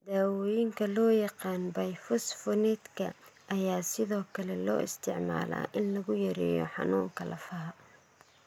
Daawooyinka loo yaqaan 'bifosphonateska' ayaa sidoo kale loo isticmaalaa in lagu yareeyo xanuunka lafaha.